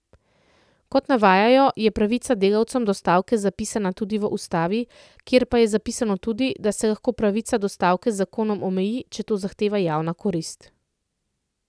Kot navajajo, je pravica delavcem do stavke zapisana tudi v ustavi, kjer pa je zapisano tudi, da se lahko pravica do stavke z zakonom omeji, če to zahteva javna korist.